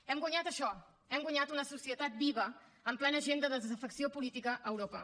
hem guanyat això hem guanyat una societat viva amb plena agenda de desafecció política a europa